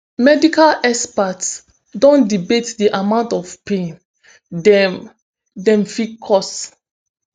medical experts don debate di amount of pain dem dem fit cause